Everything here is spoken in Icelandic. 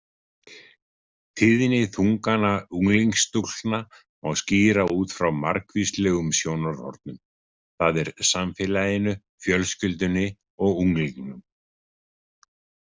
Tíðni þungana unglingsstúlkna má skýra út frá margvíslegum sjónarhornum, það er samfélaginu, fjölskyldunni og unglingnum.